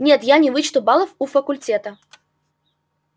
нет я не вычту баллов у факультета